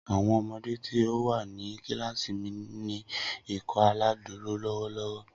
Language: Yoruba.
Awọn ọmọde ti o wa ni kilasi mi n ni Ikọaláìdúró lọwọlọwọ.